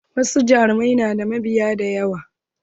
Wasu jaruman na da mabiya da yawa